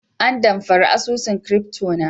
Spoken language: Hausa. an amfare asusun " crypto" na.